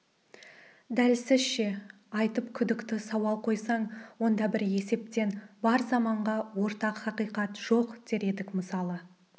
дәл сізше айтып күдікті сауал қойсаң онда бір есептен бар заманға ортақ хақиқат жоқ дер едік мысалы